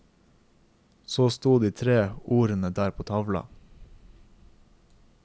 Så stod de tre ordene der på tavla.